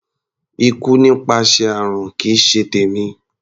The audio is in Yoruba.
Ikú nípasẹ̀ àrùn kì í ṣe tèmi.